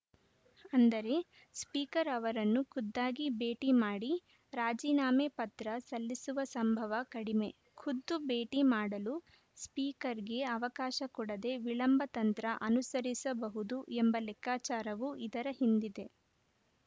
ಅಂದರೆ ಸ್ಪೀಕರ್‌ ಅವರನ್ನು ಖುದ್ದಾಗಿ ಭೇಟಿ ಮಾಡಿ ರಾಜೀನಾಮೆ ಪತ್ರ ಸಲ್ಲಿಸುವ ಸಂಭವ ಕಡಿಮೆ ಖುದ್ದು ಭೇಟಿ ಮಾಡಲು ಸ್ಪೀಕರ್‌ಗೆ ಅವಕಾಶ ಕೊಡದೆ ವಿಳಂಬ ತಂತ್ರ ಅನುಸರಿಸಬಹುದು ಎಂಬ ಲೆಕ್ಕಾಚಾರವೂ ಇದರ ಹಿಂದಿದೆ